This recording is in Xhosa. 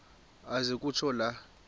aze kutsho la